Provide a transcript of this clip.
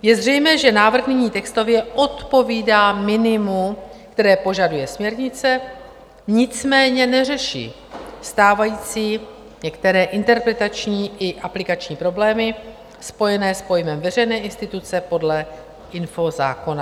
Je zřejmé, že návrh nyní textově odpovídá minimu, které požaduje směrnice, nicméně neřeší stávající některé interpretační a aplikační problémy spojené s pojmem veřejné instituce podle infozákona.